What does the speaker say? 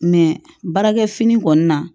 baarakɛ fini kɔni na